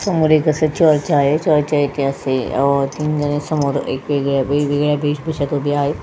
सामोर एक असे चर्च आहे चर्च तीन जणे समोर एकाले वेशभूश्यात उभी आहे.